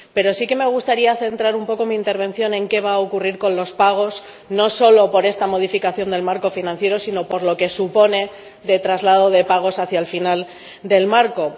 Pero sí que me gustaría centrar un poco mi intervención en qué va a ocurrir con los pagos, no solo por esta modificación del marco financiero sino por lo que supone de traslado de pagos hacia el final del marco.